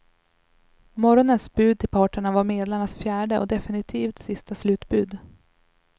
Morgonens bud till parterna var medlarnas fjärde och definitvit sista slutbud.